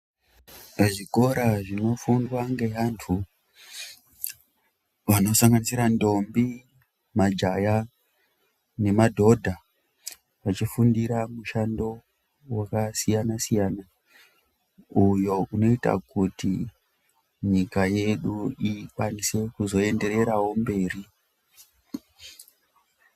Pa zvikora zvino fundwa nge antu vano sanganisira ndombi majaya ne madhodha vachi fundira mushando waka siyana siyana uyo unoita kuti nyika yedu ikwanise kuzo endererawo mberi.